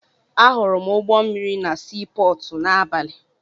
Ahụrụ m ụgbọ mmịrị na sii pọọtụ n'abalị.